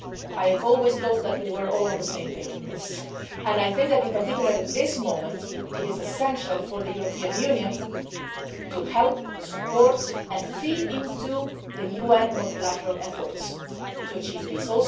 I have always thought that we were all on the same page on this, and that particularly at this moment it is essential for the European Union to help, support and feed into the UN multilateral efforts to achieve